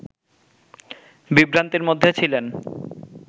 বিভ্রান্তির মধ্যে ছিলেন